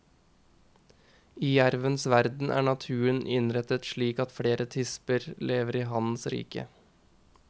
I jervens verden er naturen innrettet slik at flere tisper lever i hannens rike.